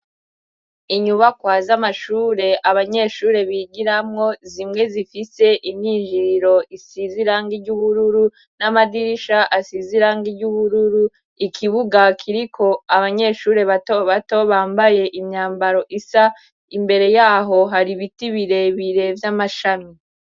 Inyubakwa z'amashure abanyeshure bigiramwo zimwe zifite imyinjiriro isize irangi ry'ubururu n'amadirisha asize irangi ry'ubururu ikibuga kiriko abanyeshuri batobato bambaye imyambaro isa imbere yaho hari ibiti birebire vy'amashami.